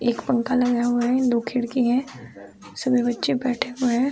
एक फंखा लगा हुआ है। दो खिड़की हैं। उसमें बच्चे बैठे हुए हैं।